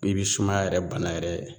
I bi sumaya yɛrɛ bana yɛrɛ